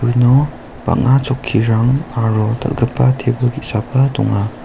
ino bang·a chokkirang aro dal·gipa tebil ge·saba donga.